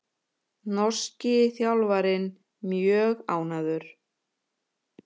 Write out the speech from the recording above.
Norski þjálfarinn mjög ánægður